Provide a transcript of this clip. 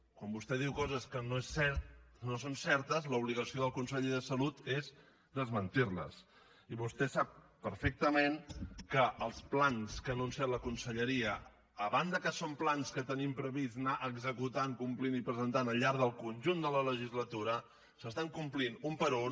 quan vostè diu coses que no són certes l’obligació del conseller de salut és desmentir les i vostè sap perfectament que els plans que ha anunciat la conselleria a banda que són plans que tenim previst anar executant complint i presentant al llarg del conjunt de la legislatura s’estan complint un per un